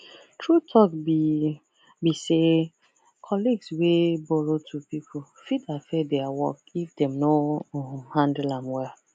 true talk be be say colleagues wey borrow to people fit affect their work if dem no um handle am well